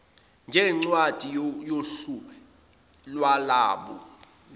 njengencwadi yohlu lwalabo